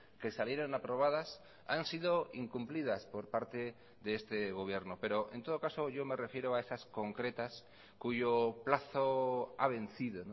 que salieron aprobadas han sido incumplidas por parte de este gobierno pero en todo caso yo me refiero a esas concretas cuyo plazo ha vencido